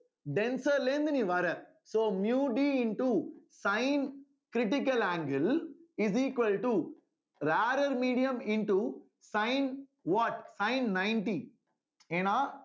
denser ல இருந்து நீ வர்ற so miu D into sine critical angle is equal to rarer medium into sine what sine ninety ஏன்னா